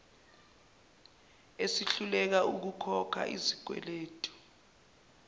esihluleka ukukhokha izikweletu